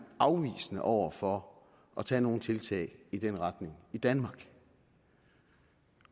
afvisende over for at tage nogen tiltag i den retning i danmark